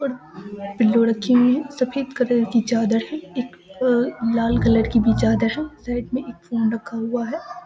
और पिल्लो रखी हुई हैं सफेद कलर की चादर हेय अ एक लाल कलर की भी चादर है साइड में एक फोन रखा हुआ है।